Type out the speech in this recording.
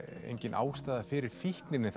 engin ástæða fyrir fíkninni